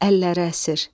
Əlləri əsir.